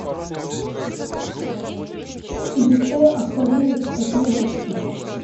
изучаю авторынок и коплю бабки